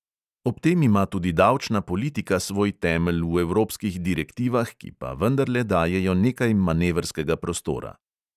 Ob tem ima tudi davčna politika svoj temelj v evropskih direktivah, ki pa vendarle dajejo nekaj manevrskega prostora.